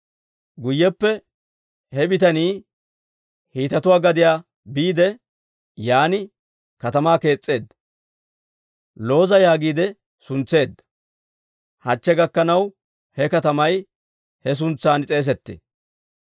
Guyyeppe he bitanii Hiitetuwaa gadiyaa biide, yaan katamaa kees's'eedda; Looza yaagiide suntseedda; hachche gakkanaw he katamay he suntsan s'eesettee.